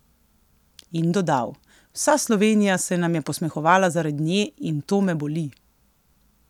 In dodal: "Vsa Slovenija se nam je posmehovala zaradi nje in to me boli.